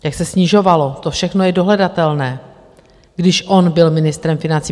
Jak se snižovalo, to všechno je dohledatelné, když on byl ministrem financí.